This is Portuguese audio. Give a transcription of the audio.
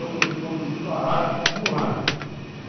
Eu corresponderia a isso com arma.